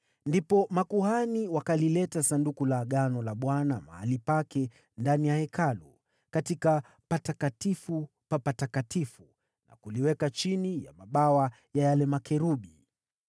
Makuhani wakalileta Sanduku la Agano la Bwana hadi mahali pake ndani ya sehemu takatifu ndani ya Hekalu, yaani Patakatifu pa Patakatifu, na kuliweka chini ya mabawa ya makerubi.